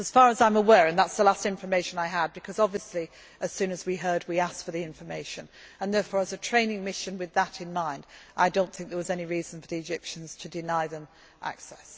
that basis. As far as I am aware and that is the last information I had because, obviously, as soon as we heard, we asked for the information as a training mission with that in mind, I do not think there was any reason for the Egyptians to deny